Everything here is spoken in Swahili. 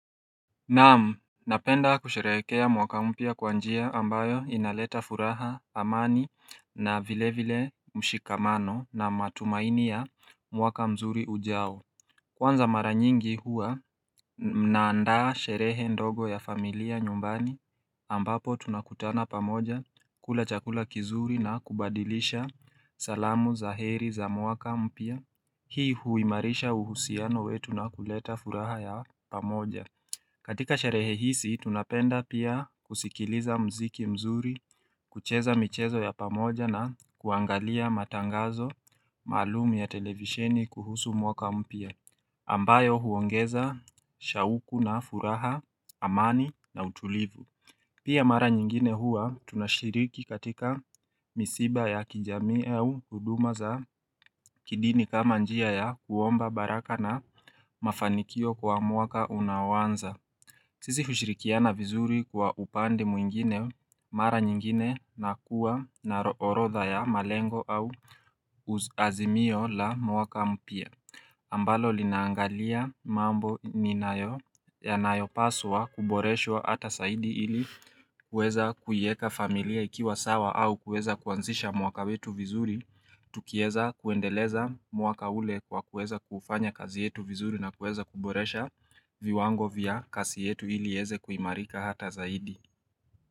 Naam, napenda kusheherekea mwaka mpya kwa njia ambayo inaleta furaha, amani na vile vile, mshikamano na matumaini ya mwaka mzuri ujao. Kwanza mara nyingi huwa mnaandaa sherehe ndogo ya familia nyumbani, ambapo tunakutana pamoja, kula chakula kizuri na kubadilisha, salamu za heri za mwaka mpya. Hii huimarisha uhusiano wetu na kuleta furaha ya pamoja. Katika sherehe hisi, tunapenda pia kusikiliza mziki mzuri, kucheza michezo ya pamoja na kuangalia matangazo, maalum ya televisheni kuhusu mwaka mpya. Ambayo huongeza, shauku na furaha, amani na utulivu. Pia mara nyingine hua tunashiriki katika misiba ya kijamii au huduma za kidini kama njia ya kuomba baraka na mafanikio kwa mwaka unaoanza. Sisi hushirikiana vizuri kwa upande mwingine, mara nyingine na kuwa na ro orodha ya malengo au, uz azimio la mwaka mpya. Ambalo linaangalia, mambo i ninayo yanayopaswa kuboreshwa ata saidi ili kuweza kuieka familia ikiwa sawa au kuweza kuanzisha mwaka wetu vizuri. Tukieza kuendeleza mwaka ule kwa kuweza kuufanya kazi yetu vizuri na kuweza kuboresha, viwango vya kasi yetu ili ieze kuimarika hata zaidi.